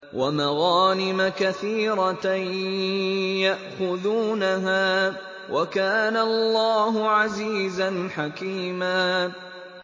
وَمَغَانِمَ كَثِيرَةً يَأْخُذُونَهَا ۗ وَكَانَ اللَّهُ عَزِيزًا حَكِيمًا